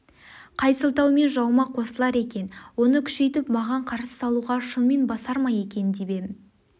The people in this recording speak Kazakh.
қай сылтаумен жауыма қосылар екен оны күшейтіп маған қарсы салуға шынымен басар ма екен деп ем